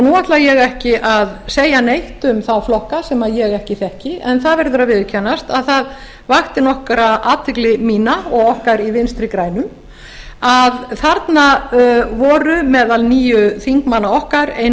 nú ætla ég ekki að segja neitt um þá flokka sem ég ekki þekki en það verður að viðurkennast að það vakti nokkra athygli mína og okkar í vinstri grænum að þarna voru meðal níu þingmanna okkar ein